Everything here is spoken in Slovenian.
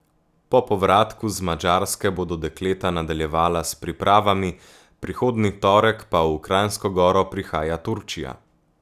Po povratku z Madžarske bodo dekleta nadaljevala s pripravami, prihodnji torek pa v Kranjsko Goro prihaja Turčija.